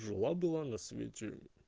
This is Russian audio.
жила была на свете